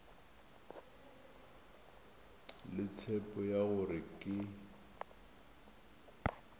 le tshepo ya gore ke